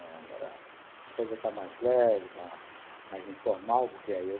Agora a coisa está mais leve, está mais informal, porque aí eu